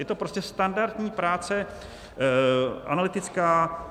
Je to prostě standardní práce analytická.